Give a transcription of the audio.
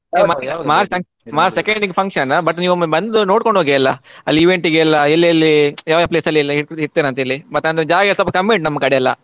March second ಗೆ function, but ನೀವೊಮ್ಮೆ ಬಂದು ನೋಡ್ಕೊಂಡು ಹೋಗಿ ಎಲ್ಲ ಅಲ್ಲಿ event ಗೆ ಎಲ್ಲಿ ಎಲ್ಲಿ ಯಾವ ಯಾವ place ಅಲ್ಲಿ ಇಡ್ತೀರಾ ಅಂತ ಹೇಳಿ ಮತ್ತೆ ಜಾಗ ಸ್ವಲ್ಪ ಕಮ್ಮಿ ಉಂಟು ನಮ್ಮ ಕಡೆಯೆಲ್ಲ.